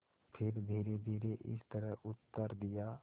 फिर धीरेधीरे इस तरह उत्तर दिया